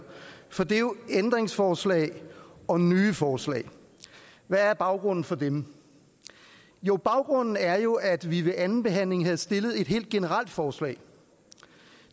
for det er jo ændringsforslag og nye forslag hvad er baggrunden for dem jo baggrunden er jo at vi ved andenbehandlingen havde stillet et helt generelt forslag